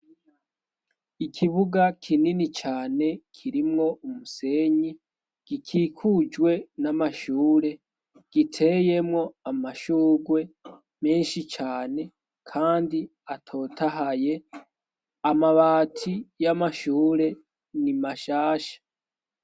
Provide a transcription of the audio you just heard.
ikibuga kinini cane kirimwo umusenyi gikikujwe n'amashure giteyemwo amashugwe menshi cane kandi atotahaye amabati y'amashure ni mashasha